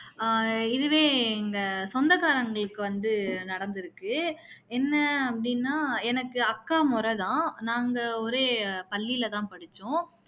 ஆஹ் இதுவே எங்க சொந்தக்காரங்களுக்கு வந்து நடந்துருக்கு என்ன அப்படின்னா எனக்கு அக்கா முறை தான் நாங்க ஒரே பள்ளியில தான் படிச்சோம்